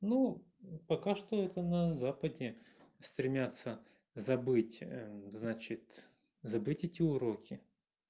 ну пока что это на западе стремятся забыть значит забыть эти уроки